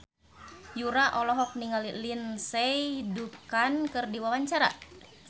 Yura olohok ningali Lindsay Ducan keur diwawancara